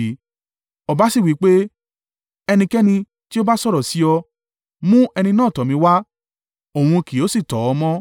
Ọba sì wí pé, “Ẹnikẹ́ni tí ó bá sọ̀rọ̀ sí ọ, mú ẹni náà tọ̀ mí wá, òun kì yóò sì tọ́ ọ mọ́.”